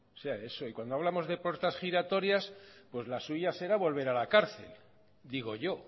diga eso y cuando hablamos de puertas giratorias pues la suya será volver a la cárcel digo yo